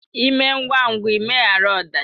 Ịme ngwa ngwa ịmeghara ọdachi!